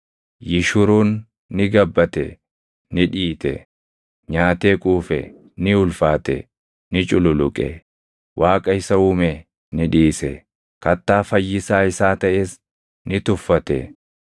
Yishuruun ni gabbate; ni dhiite; nyaatee quufe; ni ulfaate; ni cululuqe. Waaqa isa uume ni dhiise; Kattaa Fayyisaa isaa taʼes ni tuffate.